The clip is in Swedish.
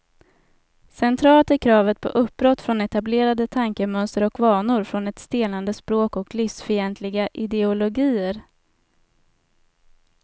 Centralt är kravet på uppbrott från etablerade tankemönster och vanor, från ett stelnande språk och livsfientliga ideologier.